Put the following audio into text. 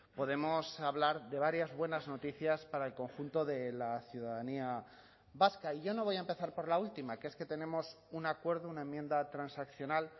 podemos hablar de varias buenas noticias para el conjunto de la ciudadanía vasca y yo no voy a empezar por la última que es que tenemos un acuerdo una enmienda transaccional